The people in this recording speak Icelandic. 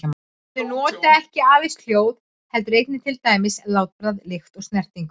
Þau nota ekki aðeins hljóð heldur einnig til dæmis látbragð, lykt eða snertingu.